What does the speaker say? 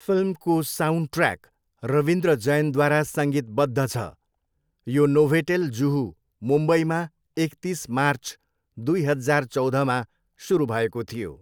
फिल्मको साउन्डट्र्याक, रविन्द्र जैनद्वारा सङ्गीतबद्ध छ, यो नोभोटेल जुहू, मुम्बईमा एकतिस मार्च दुई हजार चौधमा सुरु भएको थियो।